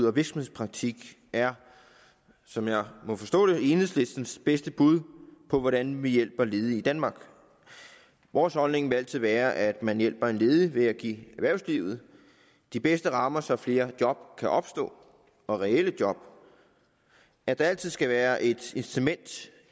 og virksomhedspraktik er som jeg må forstå det enhedslistens bedste bud på hvordan man hjælper ledige i danmark vores holdning vil altid være at man hjælper en ledig ved at give erhvervslivet de bedste rammer så flere job kan opstå reelle job og at der altid skal være et incitament